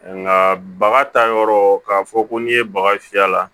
Nka baga ta yɔrɔ k'a fɔ ko n'i ye baga fiyɛ a la